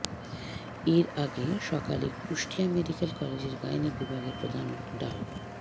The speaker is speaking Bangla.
এর আগে সকালে কুষ্টিয়া মেডিক্যাল কলেজের গাইনি বিভাগের প্রধান ডা